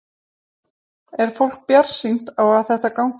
Er fólk bjartsýnt á þetta gangi?